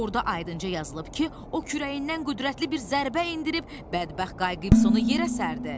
Orda ayınca yazılıb ki, o kürəyindən qüdrətli bir zərbə endirib bədbəxt Qayıqsonu yerə sərdi.